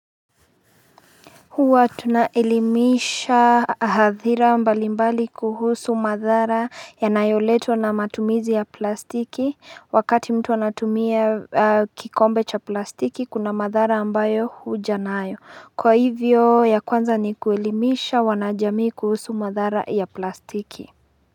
Huwa tunaelimisha hadhira mbalimbali kuhusu madhara ya nayoletwa na matumizi ya plastiki wakati mtu anatumia kikombe cha plastiki kuna madhara ambayo huja na ayo kwa hivyo ya kwanza ni kuelimisha wanajamii kuhusu madhara ya plastiki.